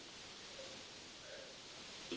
Svona er ég.